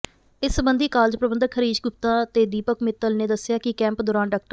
ਇਸ ਸਬੰਧੀ ਕਾਲਜ ਪ੍ਰਬੰਧਕ ਹਰੀਸ਼ ਗੁਪਤਾ ਤੇ ਦੀਪਕ ਮਿੱਤਲ ਨੇ ਦੱਸਿਆ ਕਿ ਕੈਂਪ ਦੌਰਾਨ ਡਾ